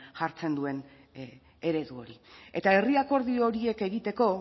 jartzen duen eredu hori eta herri akordio horiek egiteko